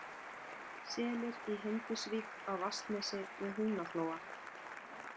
Selir í Hindisvík á Vatnsnesi við Húnaflóa